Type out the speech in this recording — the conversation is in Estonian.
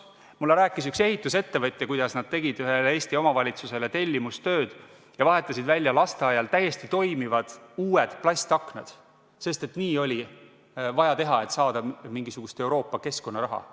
Mulle rääkis üks ehitusettevõtja, kuidas nad tegid ühele Eesti omavalitsusele tellimustööd ja vahetasid lasteaial välja täiesti toimivad uued plastaknad, sest nii oli vaja teha, et saada mingisugust Euroopa keskkonnaraha.